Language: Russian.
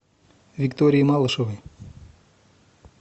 виктории малышевой